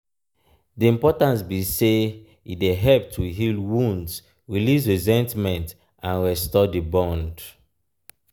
di importance be say e dey help to heal wounds release resentment and restore di bond.